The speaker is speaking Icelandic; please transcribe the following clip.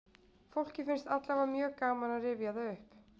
Fólki finnst allavega mjög gaman að rifja það upp.